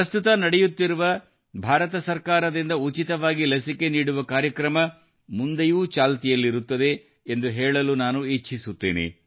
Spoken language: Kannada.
ಪ್ರಸ್ತುತ ನಡೆಯುತ್ತಿರುವ ಭಾರತ ಸರ್ಕಾರದಿಂದ ಉಚಿತವಾಗಿ ಲಸಿಕೆ ನೀಡುವ ಕಾರ್ಯಕ್ರಮ ಮುಂದೆಯೂ ಚಾಲ್ತಿಯಲ್ಲಿರುತ್ತದೆ ಎಂದು ಹೇಳಲು ನಾನು ಇಚ್ಛಿಸುತ್ತೇನೆ